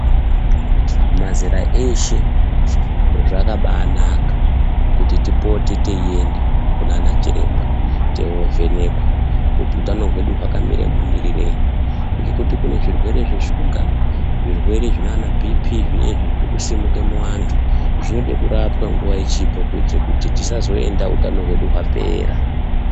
Mazera eshe zvakabaanaka kuti tipote teienda kunaana chiremba teiovhenekwa kuti utano hwedu hwakamire mumirirei. Ngekuti kune zvirwere zveshuga zvirwere zvinaanabhiipii zvinezvi zvirikusimuke muvantu, zvinode kurapwa nguva ichipo kuitire kuti tisazoenda utano hwedu hwapera.